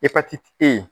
Epatiti e ye